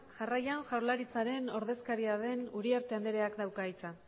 jarraian jaurlaritzaren ordezkaria den uriarte andreak dauka hitza